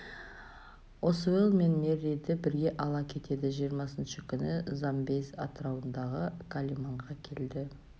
осуэлл мен мерриді бірге ала кетеді жиырмасы күні замбезь атрауындағы калиманға келді